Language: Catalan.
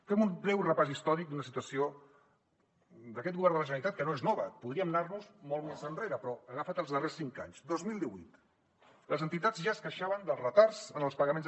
fem un breu repàs històric d’una situació d’aquest govern de la generalitat que no és nova podríem anar nos en molt més enrere però he agafat els darrers cinc anys dos mil divuit les entitats ja es queixaven dels retards en els pagaments